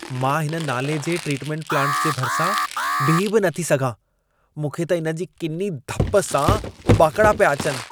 मां हिन नाले जे ट्रीटमेंट प्लांट जे भरिसां बीही बि नथी सघां। मूंखे त इन जी किनी धप सां उॿाकिड़ा पिया अचनि!